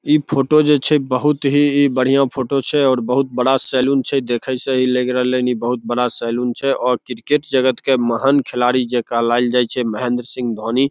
इ फोटो जे छै बहुत ही बढ़या फोटो छै और बहुत बड़ा सैलून छै देखे से ही लग रहले हेय बहुत बड़ा सैलून छै और क्रिकेट जगत के महान खिलाड़ी जे कहलाएल जाय छै महेंद्र सिंह धोनी --